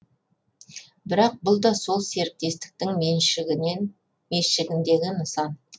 бірақ бұл да сол серіктестіктің меншігіндегі нысан